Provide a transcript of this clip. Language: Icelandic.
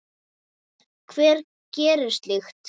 Hver gerir slíkt?